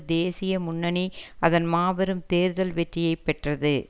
தேசிய முன்னணி அதன் மாபெரும் தேர்தல் வெற்றியை பெற்றது